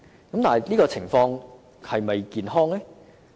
但是，這種情況是否健康？